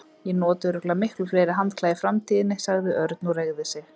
Ég nota örugglega miklu fleiri handklæði í framtíðinni sagði Örn og reigði sig.